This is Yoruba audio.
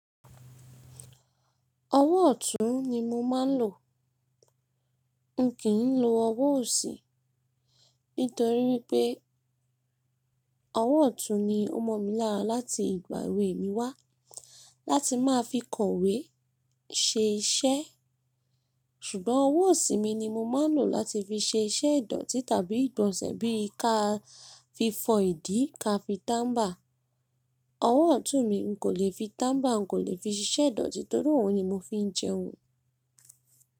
Ọwọ́ ọ̀tún ni mo máa ń lò. N kii lo ọwọ́ ọ̀si ni torí pé ọwọ́ ọ̀tún ni ó mọ̀ mi lára láti ìgbà èwè mí wá. Láti máa fi kọ̀wé, ṣe iṣẹ́. Ṣùgbọ́n ọwọ́ ọ̀si mi ni mo máa ń lò láti fi ṣe iṣẹ́ ìdọ̀tí tàbí ìgbọ̀nsẹ̀ bí i ká fi fọ ìdí, ká fi tambà. Ọwọ́ ọ̀tún mi n kò le fi tọ́mbà, n kò lè fi ṣe iṣẹ́ ìdọ̀tí torí óun ni mo fi ń jẹun.